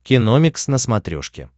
киномикс на смотрешке